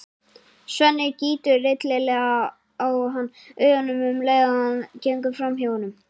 Svenni gýtur illilega á hann augunum um leið og hann gengur fram hjá honum.